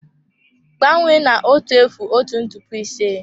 Gbanwee na otu efu otu ntụpọ ise.